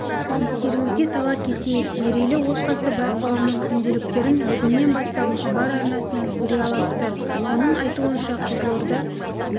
естеріңізге сала кетейік мерейлі отбасы байқауының күнделіктерін бүгіннен бастап хабар арнасынан көре аласыздар оның айтуынша қызылорда